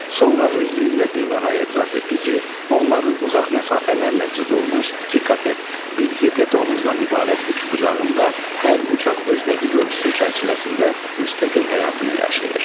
Sonra özlüyündə bir daha etiraf etdi ki, onların uzaq məsafələrlə cızılmış iki katet, bir hipotenuzdan ibarət üçbucağında hər bucaq öz dəqiq ölçüsü çərçivəsində müstəqil həyatını yaşayır.